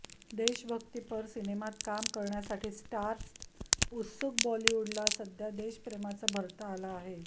देशभक्तीपर सिनेमात काम करण्यासाठी स्टार्स उत्सुकबॉलिवूडला सध्या देशप्रेमाचं भरतं आलं आहे